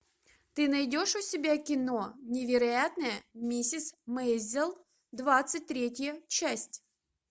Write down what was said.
ты найдешь у себя кино невероятная миссис мейзел двадцать третья часть